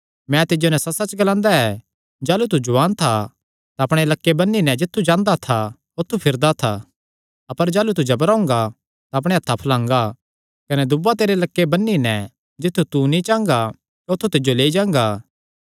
मैं तिज्जो नैं सच्चसच्च ग्लांदा ऐ जाह़लू तू जुआन था तां अपणे लक्के बन्नी नैं जित्थु चांह़दा था औत्थू फिरदा था अपर जाह़लू तू जबरा हुंगा तां अपणेयां हत्थां फलांगा कने दूआ तेरा लक्के बन्नी नैं जित्थु तू नीं चांह़गा औत्थू तिज्जो लेई जांगा